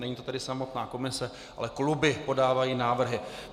Není to tedy samotná komise, ale kluby podávají návrhy.